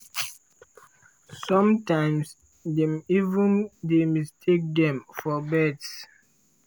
sometimes dem even dey mistake dem for birds.